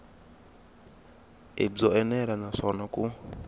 i byo enela naswona ku